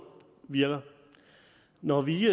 virker når vi